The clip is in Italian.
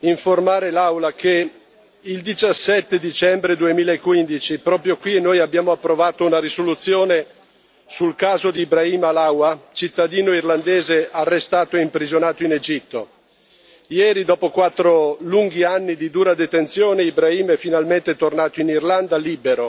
informare l'Aula che il 17 dicembre 2015, proprio qui, abbiamo approvato una risoluzione sul caso di Ibrahim Halawa, cittadino irlandese arrestato e imprigionato in Egitto. Ieri, dopo quattro lunghi anni di dura detenzione, Ibrahim è finalmente tornato in Irlanda, libero.